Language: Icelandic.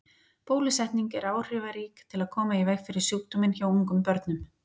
Bólusetning er áhrifarík til að koma í veg fyrir sjúkdóminn hjá ungum börnum.